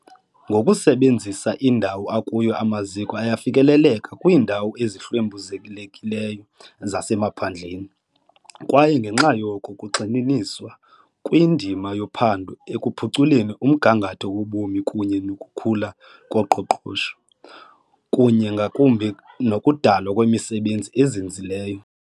Ngokusebenzisa indawo akuyo amaziko ayefikelela kwiindawo ezihlwempuzekileyo zasemaphandleni, kwaye ngenxa yoko kugxininiswa kwindima yophando ekuphuculeni umgangatho wobomi kunye nokukhula koqoqosho kunye ngakumbi nokudalwa kwemisebenzi ezinzileyo.